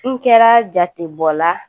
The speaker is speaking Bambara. N kɛra jatebɔla